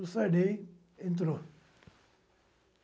O Sarney entrou.